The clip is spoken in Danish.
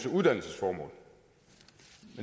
uddannelsesformål